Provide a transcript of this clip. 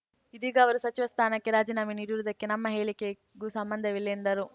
ಇದೀಗ ಅವರು ಸಚಿವ ಸ್ಥಾನಕ್ಕೆ ರಾಜೀನಾಮೆ ನೀಡಿರುವುದಕ್ಕೆ ನಮ್ಮ ಹೇಳಿಕೆಗೂ ಸಂಬಂಧವಿಲ್ಲ ಎಂದರು